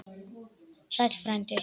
Sæll frændi!